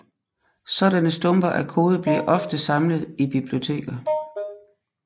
Sådanne stumper af kode bliver ofte samlet i biblioteker